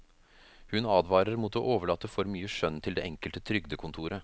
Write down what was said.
Hun advarer mot å overlate for mye skjønn til det enkelte trygdekontoret.